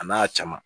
A n'a caman